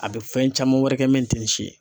A bɛ fɛn caman wɛrɛ kɛ min tɛ nin si ye.